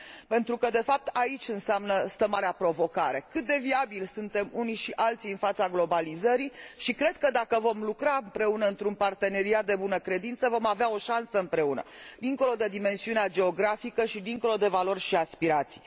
Pentru că, de fapt, aici stă marea provocare cât de viabili suntem unii și alții în fața globalizării. Cred că, dacă vom lucra împreună într un parteneriat de bună credință, vom avea o șansă împreună, dincolo de dimensiunea geografică și dincolo de valori și aspirații.